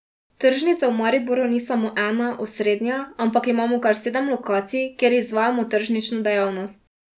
Tržnica v Mariboru ni samo ena, osrednja, ampak imamo kar sedem lokacij, kjer izvajamo tržnično dejavnost.